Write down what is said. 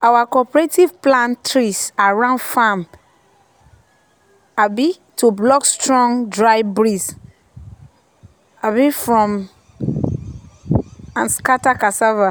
our cooperative plant trees around farm um to block strong dry breeze um from um scatter cassava.